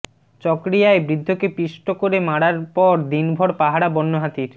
চকরিয়ায় বৃদ্ধকে পিষ্ট করে মারার পর দিনভর পাহারা বন্যহাতির